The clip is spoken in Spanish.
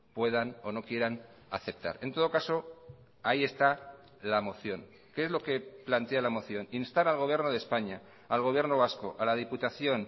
puedan o no quieran aceptar en todo caso ahí está la moción qué es lo que plantea la moción instar al gobierno de españa al gobierno vasco a la diputación